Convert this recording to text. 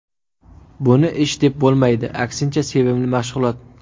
Buni ish deb bo‘lmaydi, aksincha, sevimli mashg‘ulot.